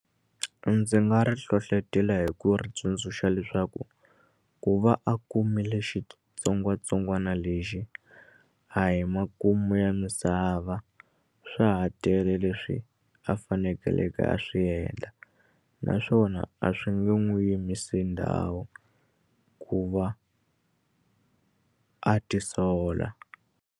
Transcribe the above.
Ndzi nga ri hlohlotela hi ku ri tsundzuxa leswaku ku va a kumile xitsongwatsongwana lexi a hi makumu ya misava swa ha tele leswi a fanekeleke a swi endla naswona a swi nge n'wi yimisi ndhawu ku va a tisola.